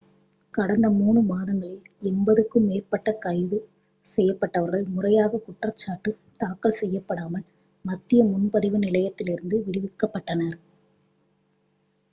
கடந்த 3 மாதங்களில் 80-க்கும் மேற்பட்ட கைது செய்யப்பட்டவர்கள் முறையாகக் குற்றஞ்சாட்டு தாக்கல் செய்யப்படாமல் மத்திய முன்பதிவு நிலையத்திலிருந்து விடுவிக்கப்பட்டனர்